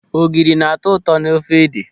Ogiri na-atọ ụtọ n'ofe ede.